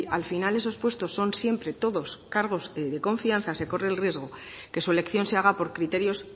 al final esos puestos son siempre todos cargos de confianza se corre el riesgo que su elección se haga por criterios